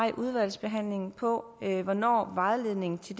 i udvalgsbehandlingen svarer på hvornår en vejledning til